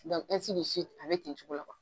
a bɛ ten cogo la